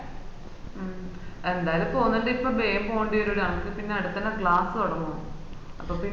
മ്മ് എന്താലും പോവുന്നുണ്ടെ ബേം പോണ്ടേരും അനക്ക് അടുത്തന്നേ class തൊടങ്ങും അപ്പൊ പിന്ന